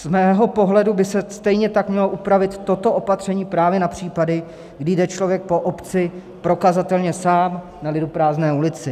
Z mého pohledu by se stejně tak mělo upravit toto opatření právě na případy, kdy jde člověk po obci prokazatelně sám na liduprázdné ulici.